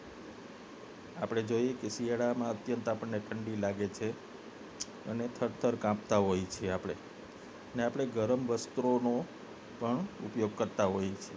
જોઈએ છે કે શિયાળામાં પણ ને અત્યંત આપને ઠંડી લાગે છે અને થર થર કાપતા હોઈએ છીએ આપને અને આપને ગરમ વસ્ત્રો પણ ઉપયોગ કરતા હોઈએ છે